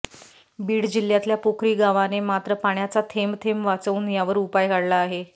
बीड जिल्ह्यातल्या पोखरी गावाने मात्र पाण्याचा थेंबथेंब वाचवून यावर उपाय काढला आहे